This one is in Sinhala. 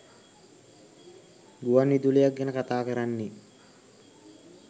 ගුවන් විදුලියක් ගැන කතාකරන්නේ.